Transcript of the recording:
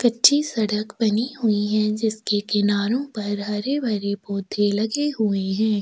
कच्ची सड़क बनी हुई है जिसके किनारो पर हरे-भरे पौधे लगे हुए है।